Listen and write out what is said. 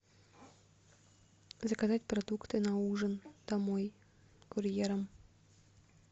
заказать продукты на ужин домой курьером